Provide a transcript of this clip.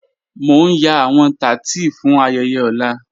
Mo n yan awọn tátí fún ayẹyẹ ọ̀lá.